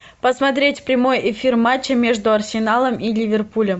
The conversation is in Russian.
посмотреть прямой эфир матча между арсеналом и ливерпулем